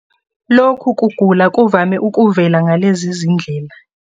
Lokhu kugula kuvame ukuvela ngalezi zindlela.